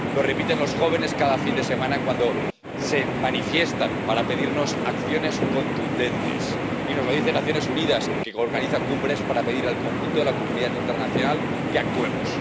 Lo repiten los jóvenes cada fin de semana cuando se manifiestan para pedirnos acciones contundentes y nos lo dicen las Naciones Unidas, que organizan cumbres para pedir al conjunto de la comunidad internacional que actuemos.